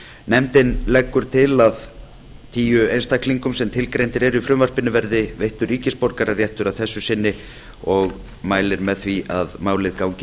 nefndin leggur til að tíu einstaklingum sem tilgreindir eru í frumvarpinu verði veittur ríkisborgararéttur að þessu sinni og mælir með því að málið gangi